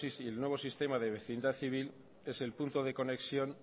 y el nuevo sistema de vecindad civil es el punto de conexión